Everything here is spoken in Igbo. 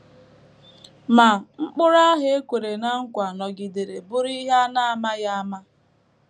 Ma, Mkpụrụ ahụ e kwere ná nkwa nọgidere bụrụ ihe a na - amaghị ama.